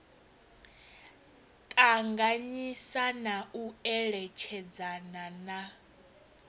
ṱanganyisa na u eletshedzana na